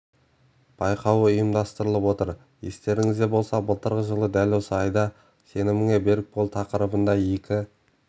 байқауы ұйымдастырылып отыр естеріңізде болса былтырғы жылы дәл осы айда сеніміңе берік бол тақырыбында екі